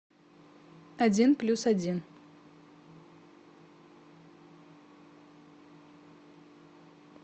один плюс один